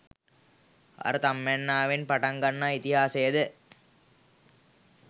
අර තම්මැන්නාවෙන් පටන් ගන්නා ඉතිහාසය ද